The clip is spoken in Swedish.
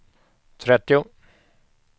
trettio